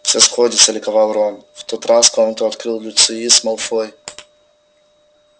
всё сходится ликовал рон в тот раз комнату открыл люциус малфой